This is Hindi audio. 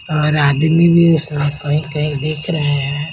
और आदमी भी सफाई कर दिख रहे है।